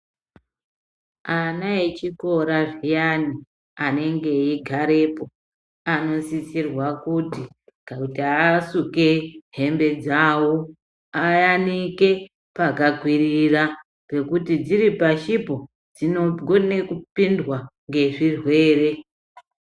Ana echikora zviyani anenge echigarepo anosisirwa kuti kuti asuke hembe dzawo ayanike pakakwirira pekuti dziri pashipo dzinokone kupindwa ngezvirwere.